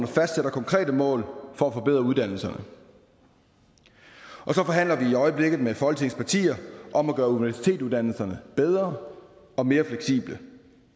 fastsætter konkrete mål for at forbedre uddannelserne og så forhandler vi i øjeblikket med folketingets partier om at gøre universitetsuddannelserne bedre og mere fleksible